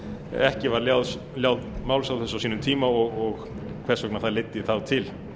ekki var lán máls á þessu á sínum tíma og hvers vegna það leiddi þá til